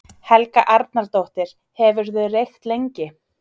Helga Arnardóttir: Hefurðu reykt lengi?